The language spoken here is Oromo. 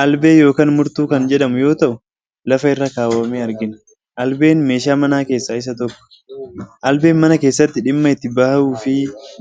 Albee yookaan murtuu kan jedhamu yoo ta’u lafa irra kaawwamee argina. Albeen meeshaa manaa keessaa isa tokkodha. Albeen mana keessatti dhimma itti bahuufi